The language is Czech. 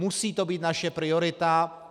Musí to být naše priorita.